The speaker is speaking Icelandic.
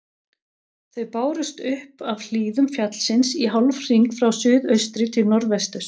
Þau bárust upp af hlíðum fjallsins í hálfhring frá suðaustri til norðvesturs.